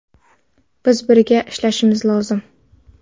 Biz birga ishlashimiz lozim.